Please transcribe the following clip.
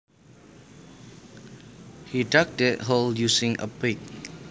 He dug that hole using a pick